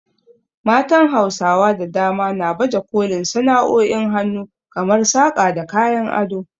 Matan Hausawa da dama na baje kolin sana’o’in hannu kamar saƙa da kayan ado.